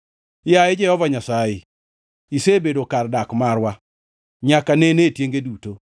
Yaye Jehova Nyasaye, isebedo kar dak marwa nyaka nene e tienge duto.